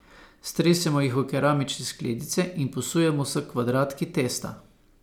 Stresemo jih v keramične skledice in posujemo s kvadratki testa.